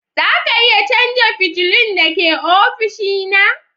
Za ka iya canza fitilun da ke ofishina?